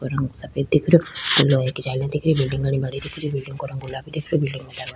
और रंग सफ़ेद दिख रह्यो लोहे की जालीय दिख रही बिलडिंग घणी बड़ी दिख रही बिलडिंग का रंग गुलाबी दिख रयो बिलडिंग --